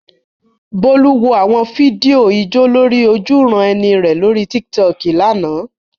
Bolu wo àwọn fídíò ijó lórí ojúuran-ẹni rẹ̀ lórí Tiktok lánàá.